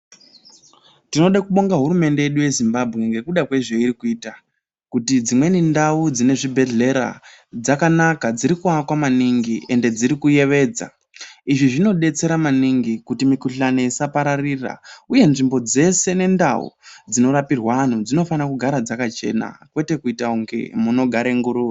Tinoda kubonga hurumende yedu yeZimbabwe ngekuda kwezveyirikuyita kuti dzimweni ndau dzinezvibhedhlera dzakanaka, dzirikuwakwa maningi, ende dzirikuyevedza. Izvi zvinodetsera maningi, kuti mikhuhlane isapararira. Uye nzvimbo dzese nendau, dzinorapirwa anu, dzinofana kugara dzakachena kwete kuyita kunge munogare nguruve.